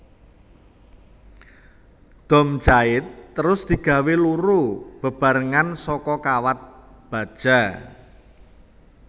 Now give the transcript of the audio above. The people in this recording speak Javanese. Dom jait terus digawé loro bebarengan saka kawat baja